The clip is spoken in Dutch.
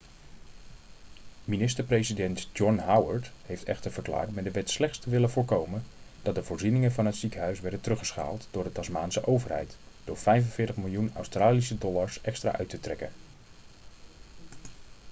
minister-president john howard heeft echter verklaard met de wet slechts te willen voorkomen dat de voorzieningen van het ziekenhuis werden teruggeschaald door de tasmaanse overheid door 45 miljoen australische dollars extra uit te trekken